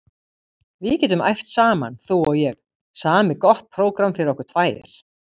Við getum æft saman þú og ég, samið gott prógramm fyrir okkur tvær.